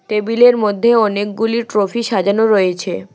টেবিলের মধ্যে অনেকগুলি ট্রফি সাজানো রয়েছে।